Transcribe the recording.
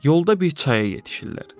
Yolda bir çaya yetişirlər.